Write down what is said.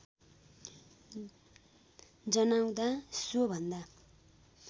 जनाउँदा सो भन्दा